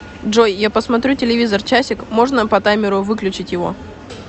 джой я посмотрю телевизор часик можно по таймеру выключить его